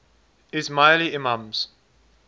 ismaili imams